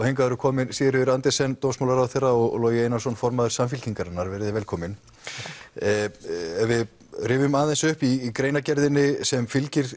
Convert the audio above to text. hingað eru komin Sigríður Andersen dómsmálaráðherra og Logi Einarsson formaður velkomin ef við rifjum aðeins upp í greinargerðinni sem fylgir